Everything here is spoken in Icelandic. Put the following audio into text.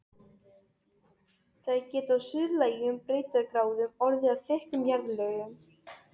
Þær geta á suðlægum breiddargráðum orðið að þykkum jarðlögum.